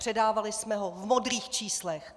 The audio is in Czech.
Předávali jsme ho v modrých číslech!